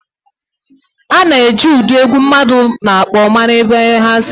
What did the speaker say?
A na-eji ụdị egwu mmadụ na-akpọ mara ebe ha si